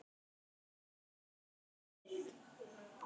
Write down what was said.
Svæðið er gróið.